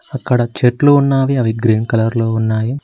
అక్కడ చెట్లు ఉన్నావి అవి గ్రీన్ కలర్ లో ఉన్నాయి.